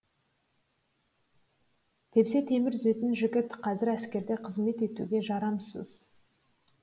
тепсе темір үзетін жігіт қазір әскерде қызмет етуге жарамсыз